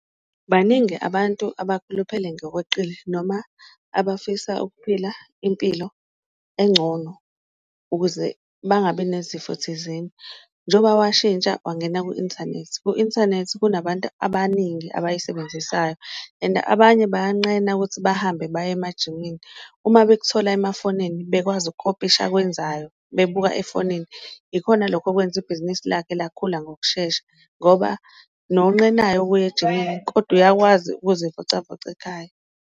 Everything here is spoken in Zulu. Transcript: Baningi abantu abakhuluphele ngokweqile noma abafisa ukuphila impilo engcono ukuze bangabi nezifo thizeni, njengoba washintsha wangena ku-inthanethi, ku-inthanethi kunabantu abaningi abayisebenzisayo and abanye bayanqena ukuthi bahambe baye emajimini. Uma bekuthola emafonini bekwazi ukukopisha akwenzayo bebuka efonini ikhona lokho okwenza ibhizinisi lakhe lakhula ngokushesha, ngoba nonqenayo ukuya ejimini kodwa uyakwazi ukuzivocavoca ekhaya.